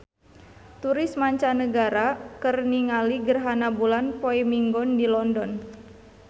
Turis mancanagara keur ningali gerhana bulan poe Minggon di London